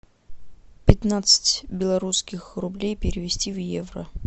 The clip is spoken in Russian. пятнадцать белорусских рублей перевести в евро